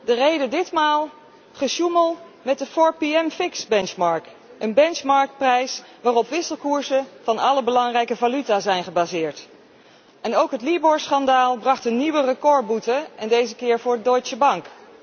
De reden ditmaal gesjoemel met de 4pm fix benchmark, een benchmark prijs waarop wisselkoersen van alle belangrijke valuta zijn gebaseerd. En ook het LIBOR schandaal bracht een nieuwe recordboete, deze keer voor de Deutsche Bank.